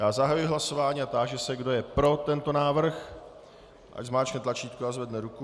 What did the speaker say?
Já zahajuji hlasování a táži se, kdo je pro tento návrh, ať zmáčkne tlačítko a zvedne ruku.